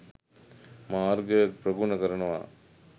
මාර්ගය ප්‍රගුණ කරනවා.